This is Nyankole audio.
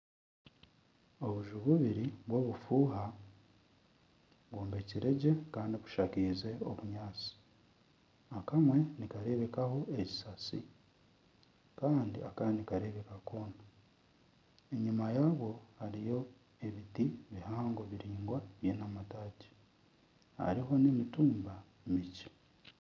Obuju bwingi bw'obufuuha bwombekire gye kandi bushakaize obunyaatsi. Akamwe nikareebekaho ekisasi. Kandi akandi nikareebeka koona. Enyima yabwo hariyo ebiti bihango munonga biraingwa biine amataagi. Hariho n'emitumba mingi.